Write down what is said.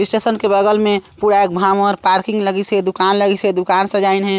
इस स्टेशन के बगल में पूरा भावर पार्किंग लगिसे दुकान लगिसे दुकान सजाइन हे।